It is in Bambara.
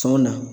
Sɔn na